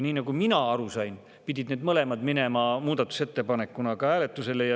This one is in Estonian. Nagu mina aru sain, pidid need mõlemad minema muudatusettepanekuna hääletusele.